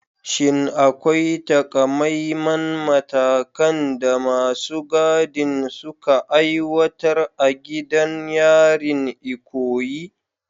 Shin akwai taƙamaiman matakan da masu gadin suka aiwatar a gidan yarin Ikoyi?